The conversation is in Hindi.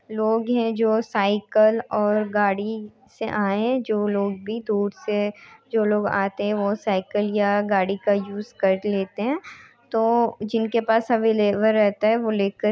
लोग हैं जो साइकिल और गाड़ी से आए हैं जो लोग भी दूर से जो लोग आते हैं वह साइकिल या गाड़ी का यूज़ कर लेते हैं तो जिनके पास अवेलेबल रहता है वह लेकर --